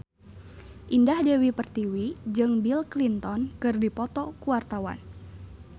Indah Dewi Pertiwi jeung Bill Clinton keur dipoto ku wartawan